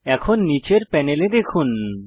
এখন নীচের প্যানেলে দেখুন